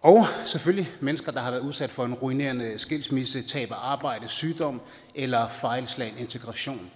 og selvfølgelig mennesker der har været udsat for en ruinerende skilsmisse tab af arbejde sygdom eller fejlslagen integration